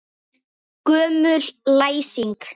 Gömul læsing.